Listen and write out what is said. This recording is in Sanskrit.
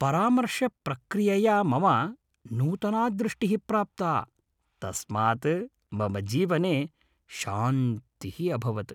परामर्शप्रक्रियया मम नूतना दृष्टिः प्राप्ता। तस्मात् मम जीवने शान्तिः अभवत् ।